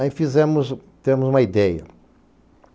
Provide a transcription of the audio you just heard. Aí fizemos, tivemos uma ideia.